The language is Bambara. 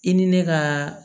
I ni ne ka